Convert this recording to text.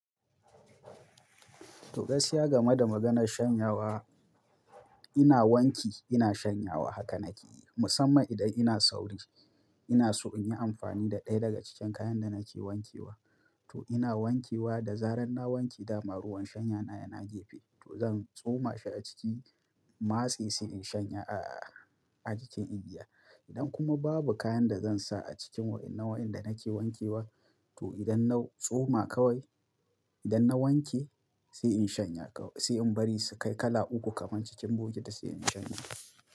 To gaskiya game da maganar shanyawa, ina wanki ina shanyawa haka nake yi musamman idan ina sauri. Ina so in yi amfani da ɗaya daga cikin kayan da nake wankewa. To ina wankewa da zarar na wanke dama ruwan shanya na yana gefe. To zan tsoma shi a ciki in matse sai in shanye a-a-a a cikin igiya. Idan kuma babu kayan da zan sa a cikin wai ina wayanda nake wankewa. To idan na tsoma kawai, idan na wanke sai in shanye kawai sai in bari su kai kala uku kaman cikin bokiti sai in shanye.